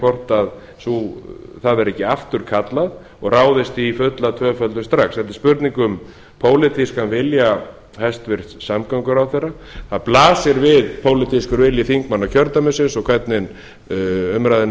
hvort það verði ekki afturkallað og ráðist í fulla tvöföldun strax þetta er spurning um pólitískan vilja hæstvirtur samgönguráðherra það blasir við pólitískur vilji þingmanna kjördæmisins og hvernig umræðunni